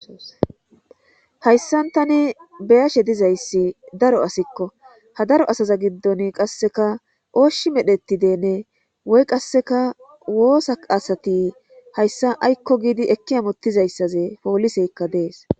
Hayssan tani beyashe dizayssi daro asikko ha daro asaza giddon qasseka oshshi medhetidenne woy qasseka woosa asati hayssa aykko giidi ekki amottizayssaze pooliseykka dees.